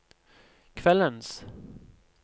kveldens